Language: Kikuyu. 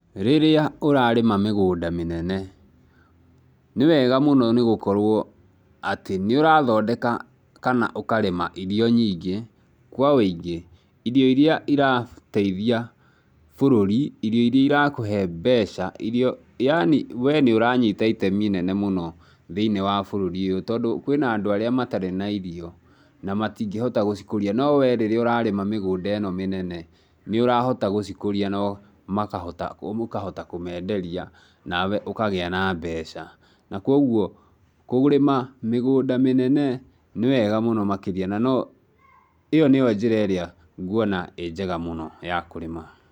Rĩrĩa ũrarĩma mĩgũnda mĩnene, nĩ wega mũno nĩ gũkorũo atĩ nĩ ũrathondeka kana ũkarĩma irio nyingĩ, kwa ũingĩ, irio iria irateithia bũrũri, irio iria irakũhe mbeca, yaani we nĩ ũranyita itemi inene mũno thĩinĩ wa bũrũri ũyũ tondũ kwĩ na andũ arĩa matarĩ na irio, na matingĩhota gũcikũria, no we rĩrĩa ũrarĩma mĩgũnda ĩno mĩnene nĩ ũrahota gũcikũria no makahota mũkahota kũmenderia nawe ũkagĩa na mbeca. Na kũoguo, kũrĩma mĩgũnda mĩnene nĩ wega mũno makĩria na no ĩo nĩyo njĩra ĩrĩa nguona ĩ njega mũno ya kũrĩma.